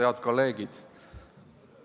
Head kolleegid!